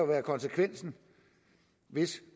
være konsekvensen hvis